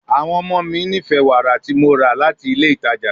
Awọn ọmọ mi nifẹ wara ti Mo ra lati ile itaja